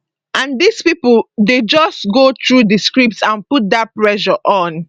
and dis pipo dey just go through di script and put dat pressure on